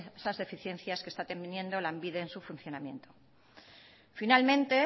esas deficiencias que está teniendo lanbide en su funcionamiento finalmente